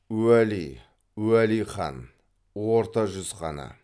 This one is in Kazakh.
уәли уәли хан орта жүз ханы